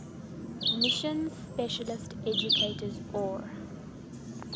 mission specialist educators or